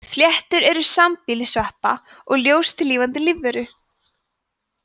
fléttur eru sambýli sveppa og ljóstillífandi lífveru